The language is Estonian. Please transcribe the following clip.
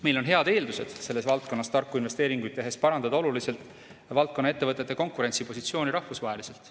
Meil on head eeldused tarku investeeringuid tehes oluliselt parandada valdkonna ettevõtete rahvusvahelist konkurentsipositsiooni.